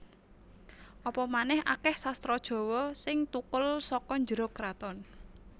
Apa manèh akèh sastra Jawa sing thukul saka njero kraton